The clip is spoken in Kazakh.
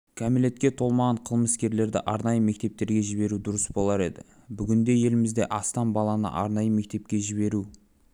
кәмелетке толмаған қылмыскерлерді арнайы мектептерге жіберу дұрыс болар еді бүгінде елімізде астам баланы арнайы мектепке жіберу